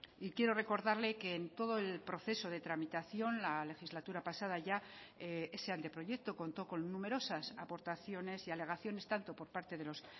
y quiero recordarle que en todo el proceso de tramitación la legislatura pasada ya ese anteproyecto contó con numerosas aportaciones y alegaciones tanto por parte de los